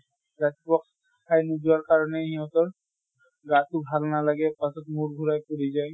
ৰাতিপুৱা খাই নোযোৱাৰ কাৰণে সিহঁতৰ গাতো ভাল নালাগে, পাছত মূৰ ঘুৰাই পৰি যায়।